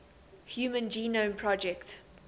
human genome project